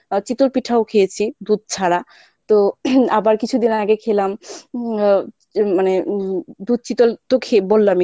চিতই পিঠাও খেয়েছি দুধ ছাড়া তো আবার কিছুদিন আগে খেলাম হম মানে হম দুধ চিতল তো খেয়ে বল্লামই